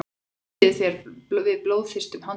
ofbýður þér við blóðþyrstum handtökum